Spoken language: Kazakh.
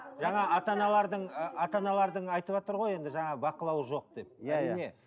жаңа ата аналардың ы ата аналардың айтыватыр ғой енді жаңағы бақылауы жоқ деп